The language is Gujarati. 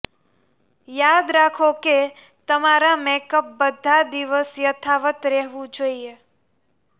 યાદ રાખો કે તમારા મેકઅપ બધા દિવસ યથાવત રહેવું જોઈએ